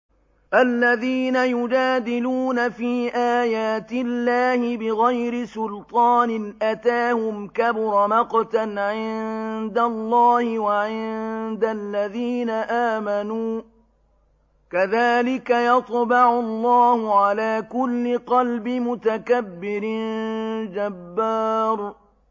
الَّذِينَ يُجَادِلُونَ فِي آيَاتِ اللَّهِ بِغَيْرِ سُلْطَانٍ أَتَاهُمْ ۖ كَبُرَ مَقْتًا عِندَ اللَّهِ وَعِندَ الَّذِينَ آمَنُوا ۚ كَذَٰلِكَ يَطْبَعُ اللَّهُ عَلَىٰ كُلِّ قَلْبِ مُتَكَبِّرٍ جَبَّارٍ